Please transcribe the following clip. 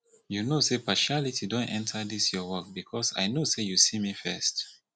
you no say partiality don enter dis your work because i know say you see me first